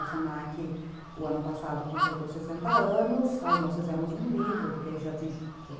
O se na que, o ano passado, completou sessenta anos, aí nós fizemos um livro, porque já tinha um conteúdo novo,